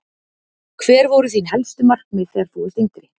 Hver voru þín helstu markmið þegar þú varst yngri?